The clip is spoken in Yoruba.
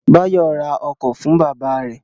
Báyọ̀ ra ọkọ̀ fún bábà rẹ̀